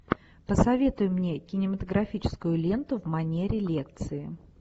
посоветуй мне кинематографическую ленту в манере лекции